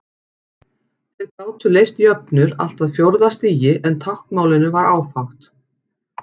Þeir gátu leyst jöfnur allt að fjórða stigi en táknmálinu var áfátt.